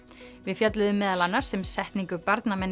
við fjölluðum meðal annars um setningu